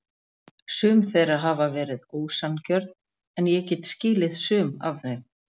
Sum þeirra hafa verið ósanngjörn en ég get skilið sum af þeim.